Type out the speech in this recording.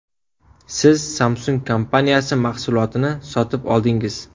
Siz Samsung kompaniyasi mahsulotini sotib oldingiz.